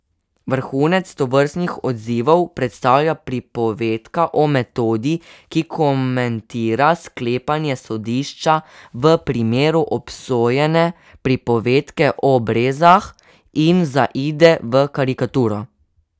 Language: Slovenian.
Vrhunec tovrstnih odzivov predstavlja Pripovedka o metodi, ki komentira sklepanje sodišča v primeru obsojene pripovedke o brezah, in zaide v karikaturo.